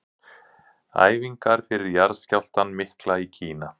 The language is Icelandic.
Æfingar fyrir jarðskjálftann mikla í Kína.